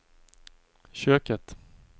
köket